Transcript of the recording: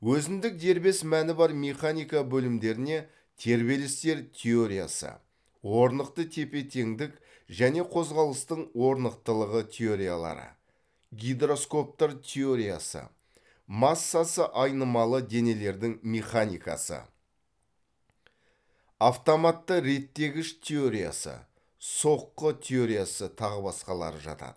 өзіндік дербес мәні бар механика бөлімдеріне тербелістер теориясы орнықты тепе теңдік және қозғалыстың орнықтылығы теориялары гидроскоптар теориясы массасы айнымалы денелердің механикасы автоматты реттегіш теориясы соққы теориясы тағы басқалары жатады